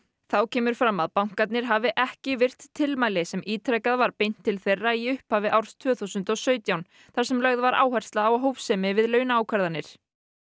þá kemur fram að bankarnir hafi ekki virt tilmæli sem ítrekað var beint til þeirra í upphafi árs tvö þúsund og sautján þar sem lögð var áhersla á hófsemi við launaákvarðanir